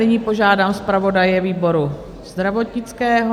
Nyní požádám zpravodaje výboru zdravotnického.